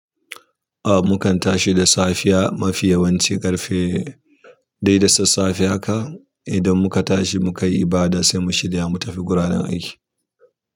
Ah, mukan tashi da safiya mafi yawanci ƙarfe dai da sassafe haka. Idan muka tashi mukayi ibada saimu shirya mu tafi guraren aiki.